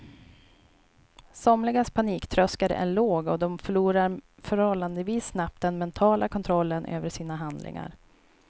Somligas paniktröskel är låg och de förlorar förhållandevis snabbt den mentala kontrollen över sina handlingar.